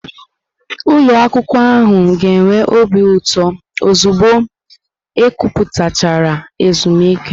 Ụlọ akwụkwọ ahụ ga-enwe obi ụtọ ozugbo ekwuputachara ezumike.